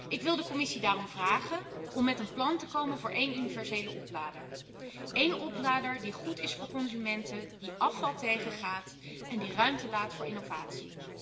Ik wil de Commissie daarom vragen om met een plan te komen voor één universele oplader, één oplader die goed is voor consumenten, die afval tegengaat en die ruimte laat voor innovatie.